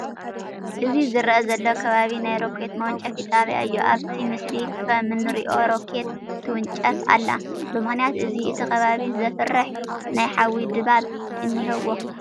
እዚ ዝርአ ዘሎ ከባቢ ናይ ሮኬት መወንጨፊ ጣብያ እዩ፡፡ ኣብቲ ምስሊ ከምንሪኦ ሮኬት ትውንጨፍ ኣላ፡፡ ብምኽንያት እዚ እቲ ከባቢ ዘፍርሕ ናይ ሓዊ ድባብ እኔዎ፡፡